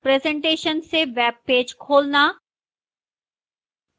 presentation से web page खोलना